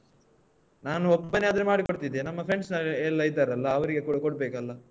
ನಾನು ಒಬ್ಬನೇ ಆದ್ರೆ ಮಾಡಿಕೊಡ್ತಿದ್ದೆ ನಮ್ಮ friends ನಾವ್ ಎಲ್ಲ ಇದ್ದಾರಲ್ಲ ಅವರಿಗೆಕೂಡ ಕೊಡ್ಬೇಕಲ್ಲಾ.